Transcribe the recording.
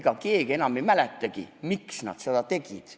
Ega keegi enam ei mäletagi, miks nad seda tegid.